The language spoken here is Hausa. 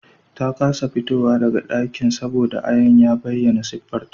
Ta kasa fitowa daga dakin saboda ayan ya bayyana siffarta